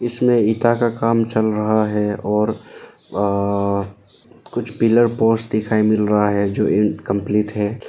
इसमें ईंटा का काम चल रहा है और अह कुछ पिलर पोस्ट दिखाई मिल रहा है जो इनकंप्लीट है।